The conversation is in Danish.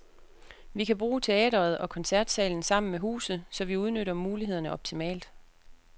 Vi kan bruge teatret og koncertsalen sammen med huset, så vi udnytter mulighederne optimalt.